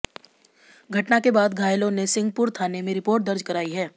घटना के बाद घायलों ने सिहंपुर थाने में रिपोर्ट दर्ज कराई है